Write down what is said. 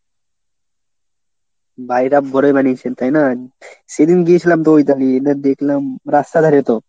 বাড়িটা বড়ই বানিয়েছে তাই না? সেদিন গিয়েছিলাম তো এবার দেখলাম রাস্তার ধারে তো।